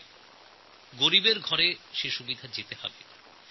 এই সুবিধা দরিদ্র মানুষের কাছ পর্যন্ত পৌঁছনো দরকার